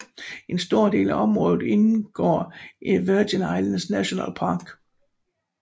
En stor del af området indgår i Virgin Islands National Park